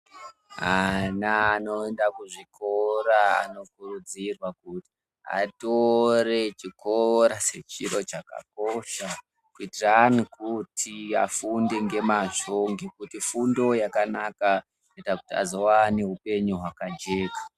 Ana anoenda kuzvikora anokurudzirwa kuti atore chikora sechiro chakakosha kuitirani kuti afunde ngemazvo ngekuti fundo yakanaka inoita kuti azowane upenyu hwakajeka.